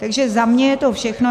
Takže za mě je to všechno.